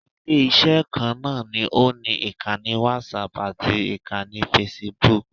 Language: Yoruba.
Ilé-iṣẹ́ kan náà ni ó ni ìkannì whatapp ati ìkanni facebook